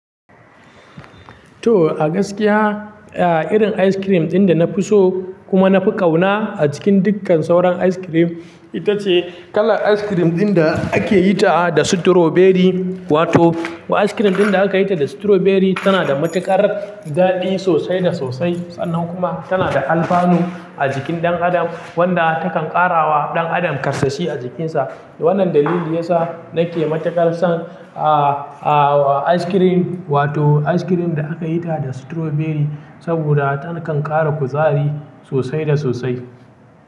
To a gaskiya, a irin ice cream ɗin da na fi so kuma na fi ƙauna a cikin dukkan sauran ice cream ita ce kalar ice cream ɗin da ake yi ta da su strawberry. Wato ice cream ɗin da aka yi ta da strawberry tana da matuƙar daɗi sosai da sosai sannan kuma tana da alfanu a jikin ɗan adam wanda takan ƙarawa ɗan adam ƙarsashi a jikinsa. Wannan dalili yasa nake matuƙar son ah, ah ice cream wato ice cream da aka yi ta da strawberry saboda takan ƙara kuzari sosai da sosai.